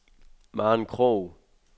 Maren Krog